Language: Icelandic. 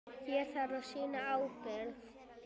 Hér þarf að sýna ábyrgð.